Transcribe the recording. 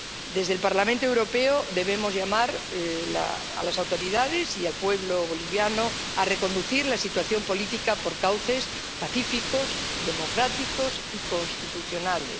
Desde el Parlamento Europeo, debemos llamar a las autoridades y al pueblo bolivianos a reconducir la situación política por cauces pacíficos, democráticos y constitucionales.